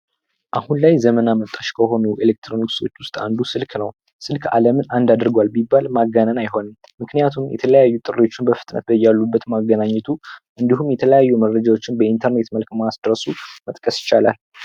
አሁን ላይ ዘመን አመጣሽ ከሆኑ ቴክኖሎጂዎች መካከል አንዱ ስልክ ነው። ስልክ አለምን አንድ አድርጓል ቢባል ማጋነን አይሆንም ምክንያቱም የተለያዩ ጥሪዎችን በፍጥነት በያሉበት ማገናኘቱ እንዲሁም የተለያዩ መረጃዎችን በኢንተርኔት መልክ ማድረሱን መጥቀስ ይቻላል።